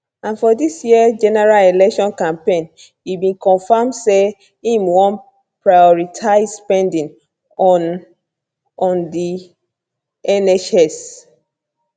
and for dis year general election campaign e bin confam say im wan prioritise spending on on di nhs